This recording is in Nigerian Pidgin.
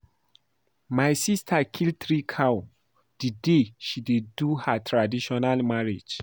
My sister kill three cow the day she dey do her traditional marriage